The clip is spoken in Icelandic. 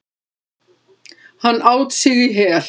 Hann át sig í hel.